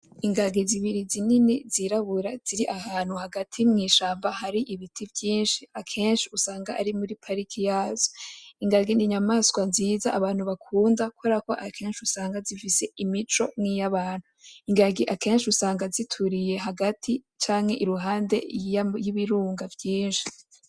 Ingage zibiri zinini zirabura ziri ahantu hagati mw'ishamba hari ibiti vyinshi, akenshi usanga ari muri pariki yazo, ingage n'inyamaswa nziza abantu bakunda kubera ko akenshi usanga zifise imico nkiy'abantu, ingage akenshi usanga zituriye hagati canke iruhande y'ibirunga vyinshi.